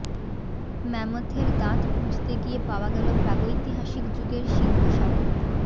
ম্যামথের দাঁত খুঁজতে গিয়ে পাওয়া গেলো প্রাগৈতিহাসিক যুগের সিংহ শাবক